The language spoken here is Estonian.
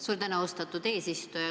Suur tänu, austatud eesistuja!